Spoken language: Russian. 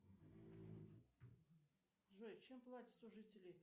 джой чем платят у жителей